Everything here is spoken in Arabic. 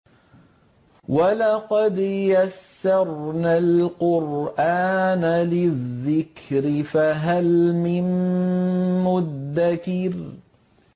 وَلَقَدْ يَسَّرْنَا الْقُرْآنَ لِلذِّكْرِ فَهَلْ مِن مُّدَّكِرٍ